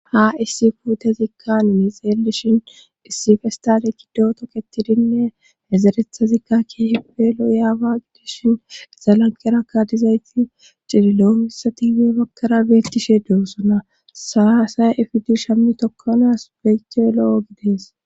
Ha issi fuutezikka nini xeelishin issi festale gido toketidinne hezerethazikka kepe lo yaawa gidishin zalanqera kadizayti cililooissatibee bakkara beettishee doosona saasaya ifidishammi tokkonaas beete lo7o gidees.